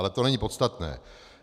Ale to není podstatné.